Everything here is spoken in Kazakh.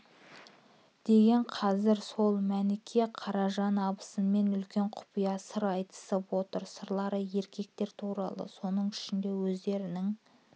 деген қазір сол мәніке қаражан абысынымен үлкен құпия сыр айтысып отыр сырлары еркектер туралы соныңішінде өзде-рінің